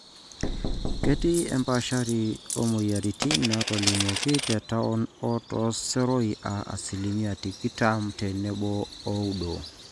kiti empaashari oomweyiaritin naatolimuoki te town o tooseroi aa asilimia tikitam te tomon ooudo